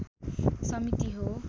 समिति हो